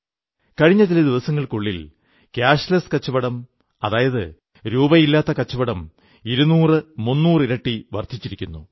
കഴിഞ്ഞ ചില ദിവസങ്ങൾക്കുള്ളിൽ ക്യാഷ്ലെസ് കച്ചവടം അതായത് രൂപയില്ലാത്ത കച്ചവടം 200300 ഇരട്ടി വർധിച്ചിരിക്കുന്നു